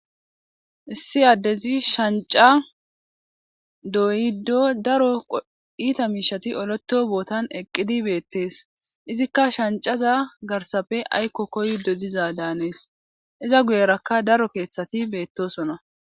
Issi addezi shanca doyddo daro iita miishati oleto bootan eqqidi beettees izikka shancaza garsafe aykko koydo diza daanees iza guyerakka daro keeththati beettosona